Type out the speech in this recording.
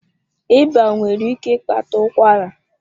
Ịba nwere ike ịkpata ụkwara.